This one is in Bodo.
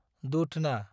दुधना